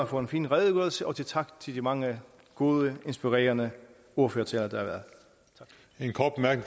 for en fin redegørelse og tak til de mange gode inspirerende ordførertaler